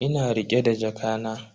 Ina rike da jakana.